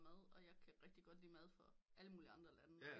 Mad og jeg kan rigtig god lide mad fra alle mulige andre lande